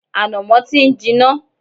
Ànàmọ́ ti ń jiná